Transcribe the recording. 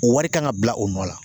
O wari kan ka bila o nɔ la